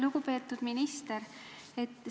Lugupeetud minister!